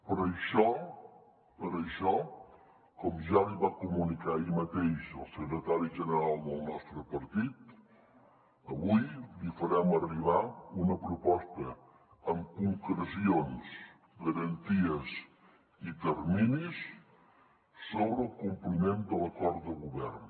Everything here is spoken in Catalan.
per això com ja li va comunicar ahir mateix el secretari general del nostre partit avui li farem arribar una proposta amb concrecions garanties i terminis sobre el compliment de l’acord de govern